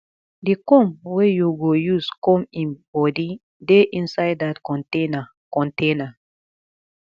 the comb wey you go use comb im body dey inside dat container container